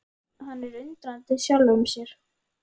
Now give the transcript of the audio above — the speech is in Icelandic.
Hann er undrandi á sjálfum sér.